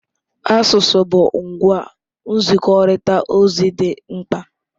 Asụsụ bụ ngwa nzikọrịta ozi dị mkpa.